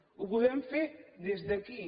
ho podem fer des d’aquí